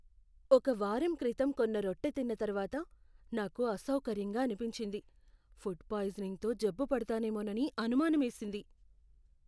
ఒక వారం క్రితం కొన్న రొట్టె తిన్న తర్వాత నాకు అసౌకర్యంగా అనిపించింది, ఫుడ్ పాయిజనింగ్తో జబ్బు పడతానేమోనని అనుమానమేసింది.